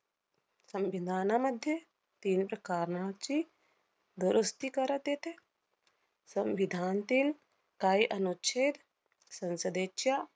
संविधानामध्ये तीन प्रकारणाची दुरुस्ती करात येते. संविधानतील काही अनुच्छेद संसदेच्या